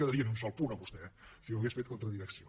quedaria ni un sol punt a vostè eh si ho hagués fet en contra direcció